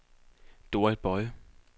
Dorrit Boye